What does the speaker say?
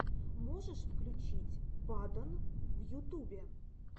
можешь включить падон в ютубе